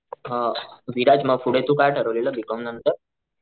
हा विराज म पुढं तू काय ठरवलेल बी कॉम नंतर.